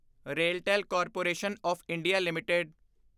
RailTel corporation of India LTD